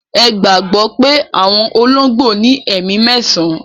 Ẹ gbagbọ pẹ̀ awọn ologbo ni ẹ̀mi mẹ̀san